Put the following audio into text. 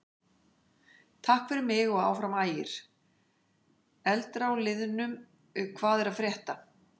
Takk fyrir mig og Áfram Ægir.Eldra úr liðnum Hvað er að frétta?